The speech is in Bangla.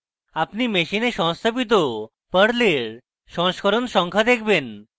আপনি machine সংস্থাপিত perl সংস্করণ সংখ্যা দেখবেন